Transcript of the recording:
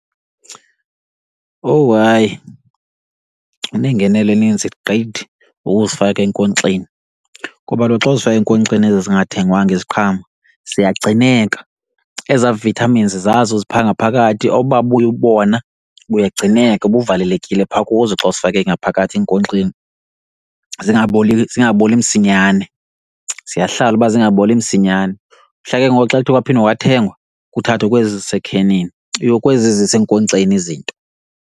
Owu hayi, inegenelo eninzi gqithi ukuzifaka enkonkxeni. Ngoba kaloku xa uzifaka enkonkxeni ezi zingathengwanga iziqhamo ziyagcineka. Ezaa vitamins zazo ziphaa ngaphakathi oba bubona buyagcineka buvalekile phaa kuzo xa uzifake ngaphakathi enkonkxeni. Zingaboli, zingaboli msinyane, ziyahlala uba zingaboli msinyane. Mhla ke ngoku xa kuthwe kwaphinde kwathengwa, kuthathwe kwezi zisekhenini, yoh, kwezi zisenkonkxeni izinto.